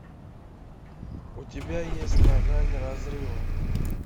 у тебя есть на грани разрыва